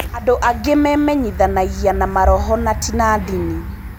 Andũ angĩ memenyithanagia na Maroho na ti na ndini.